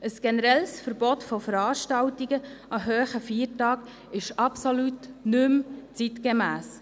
Ein generelles Verbot von Veranstaltungen an hohen Feiertagen ist absolut nicht mehr zeitgemäss.